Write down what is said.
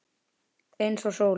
Eins og sólin.